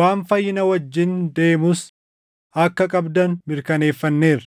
waan fayyina wajjin deemus akka qabdan mirkaneeffanneerra.